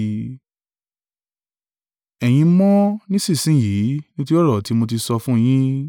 Ẹ̀yin mọ́ nísinsin yìí nítorí ọ̀rọ̀ tí mo ti sọ fún yín.